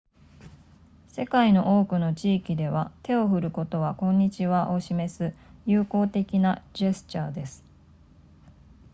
世界の多くの地域では手を振ることはこんにちはを示す友好的なジェスチャーです